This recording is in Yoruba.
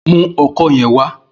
Mu ọkọ́ yẹn wá!